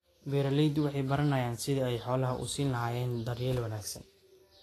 Beeraleydu waxay baranayaan sidii ay xoolaha u siin lahaayeen daryeel wanaagsan.